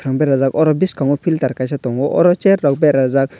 beraijakh aro bwskango pilter kaisa tango aro chair rok beraijakh.